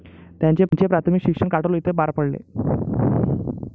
त्यांचे प्राथमिक शिक्षण काटोल येथे पार पडले.